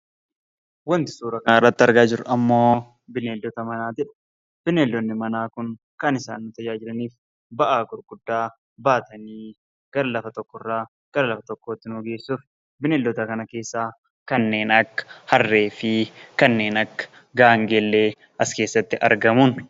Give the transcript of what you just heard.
Waanti suuraa kanarratti argaa jirru ammoo bineeldota manaati. Bineeldonni manaa kun kan isaan tajaajilaniif ba'aa gurguddaa baatanii gara lafa tokkorraa gara lafa tokkootti nu geessuufi. Bineeldota kana keessaa kanneen akka harree fi kanneen akka gaangee illee as keessatti argamuuni